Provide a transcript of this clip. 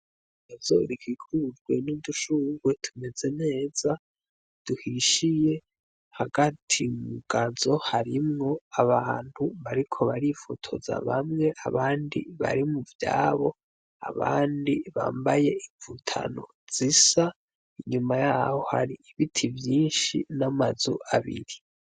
Yazorigikujwe n'udushungwe tumeze neza duhishiye hagati mugazo harimwo abantu bariko barifotoza bamwe abandi barimu vyabo abandi bambaye imvutano zisa inyuma yaho hari ibiti vyinshi shi n'amazu abinti.